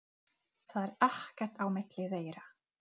Hefurðu nefnt það við hana?